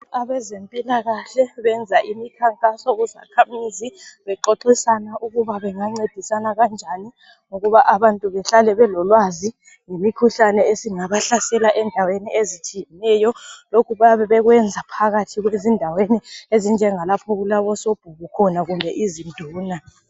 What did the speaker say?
Abezempilakahle benza imikhankaso kuzakhamizi bexoxisana ukuba bengancedisana kanjani ukuba abantu behlale belolwazi ngemikhuhlane esingabahlasela endaweni ezitshiyeneyo. Lokhu bayabe bekwenza phakathi ezindaweni lapho okulabo sobhuku khona kumbe izinduna.